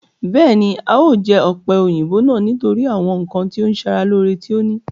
Bẹ́ẹ̀ni, a o jẹ ọ̀pẹ̀-òyìnbò náà nítorí àwọn ǹkan tí ó ń sara lore tí ó ní